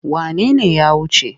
Wane ne ya wuce?